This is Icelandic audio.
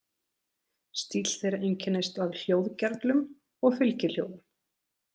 Stíll þeirra einkennist af hljóðgervlum og fylgihljóðum.